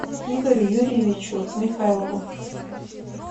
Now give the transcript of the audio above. игорю юрьевичу михайлову